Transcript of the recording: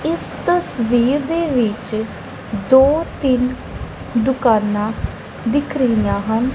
ਇਸ ਤਸਵੀਰ ਦੇ ਵਿੱਚ ਦੋ ਤਿੰਨ ਦੁਕਾਨਾਂ ਦਿਖ ਰਹੀਆਂ ਹਨ।